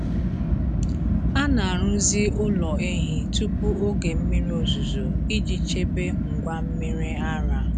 A na-arụzi ụlọ ehi tupu oge mmiri ozuzo iji chebe ngwa mmiri ara.